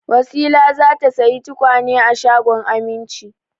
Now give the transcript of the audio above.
Wasila za ta sayi tukwane a shagon Aminci.